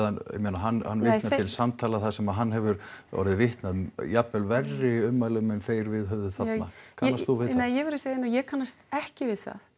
hann vitnar til samtala þar sem hann hefur orðið vitni af jafnvel verri ummælum en þeir viðhöfðu þarna kannast þú við það nei ég verð að segja nei ég kannast ekki við það